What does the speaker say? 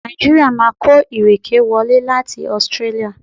Nàìjíríà máa kó ìrèké wọlé láti Australia.